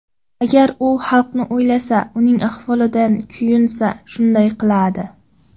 Agar u xalqni o‘ylasa, uning ahvolidan kuyunsa, shunday qiladi.